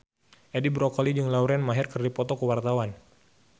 Edi Brokoli jeung Lauren Maher keur dipoto ku wartawan